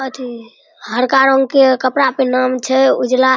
अथि हरका रंग के कपड़ा पिन्हना मे छै उजला --